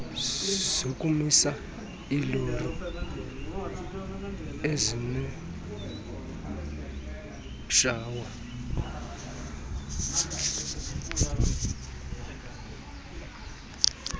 zokumisa iilori ezineshawa